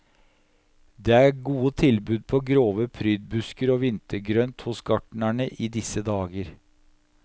Det er gode tilbud på grove prydbusker og vintergrønt hos gartneren i disse dager.